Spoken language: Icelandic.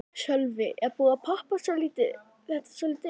Sölvi: Er búið að poppa þetta svolítið upp?